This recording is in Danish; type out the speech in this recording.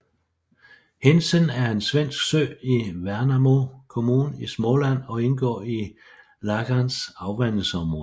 Hindsen er en svensk sø i Värnamo kommun i Småland og indgår i Lagans afvandingsområde